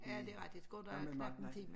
Ja det rigtig Skåne er knapt en time